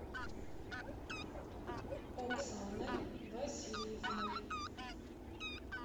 оксаной васильевной